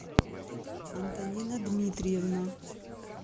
антонина дмитриевна